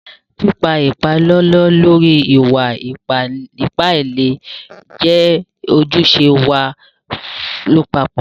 Pípà ìpàlọ̀lọ̀ lórí ìwà-ìpà ìlẹ̀ jẹ́ ojúṣẹ̀ wá làpapọ̀.